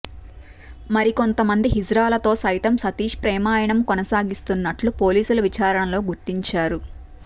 మరికొంతమంది హిజ్రాలతో సైతం సతీష్ ప్రేమాయణం కొనసాగిస్తున్నట్లు పోలీసులు విచారణలో గుర్తించారు